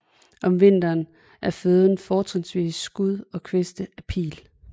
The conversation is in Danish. Om vinteren er føden fortrinsvis skud og kviste af pil